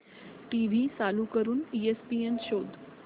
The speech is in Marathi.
टीव्ही चालू करून ईएसपीएन शोध